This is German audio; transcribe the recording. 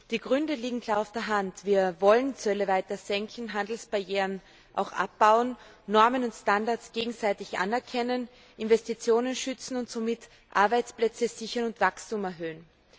Die Gründe liegen klar auf der Hand Wir wollen Zölle weiter senken, Handelsbarrieren abbauen, Normen und Standards gegenseitig anerkennen, Investitionen schützen und somit Arbeitsplätze sichern und Wachstum erhöhen.